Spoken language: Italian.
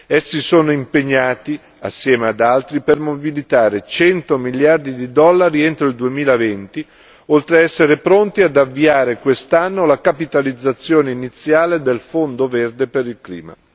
Essi sono impegnati, assieme ad altri, per mobilitare cento miliardi di dollari entro il 2020, oltre ad essere pronti ad avviare quest'anno la capitalizzazione iniziale del fondo verde per il clima.